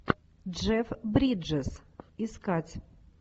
джефф бриджес искать